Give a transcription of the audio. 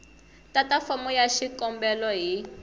tata fomo ya xikombelo hi